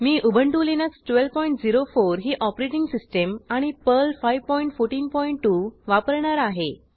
मी Ubuntu Linux 1204 ही operating system आणि Perl 5142 वापरणार आहे